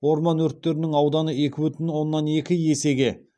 орман өрттерінің ауданы екі бүтін оннан екі есеге